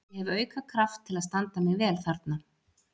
Ég hef auka kraft til að standa mig vel þarna.